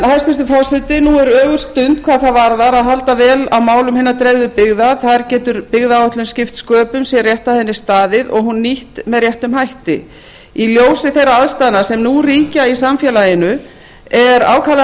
hæstvirtur forseti nú er ögurstund hvað það varðar að halda vel á málum hinna dreifðu byggða þar getur byggðaáætlun skipt sköpum sé rétt að henni staðið og hún nýtt með réttum hætti í ljósi þeirra aðstæðna sem nú ríkja í samfélaginu er ákaflega